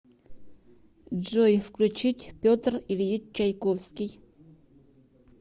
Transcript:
джой включить петр ильич чайковский